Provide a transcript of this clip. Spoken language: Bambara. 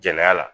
Jɛnɛya la